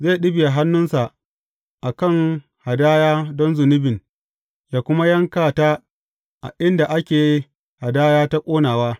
Zai ɗibiya hannunsa a kan hadaya don zunubin yă kuma yanka ta a inda ake hadaya ta ƙonawa.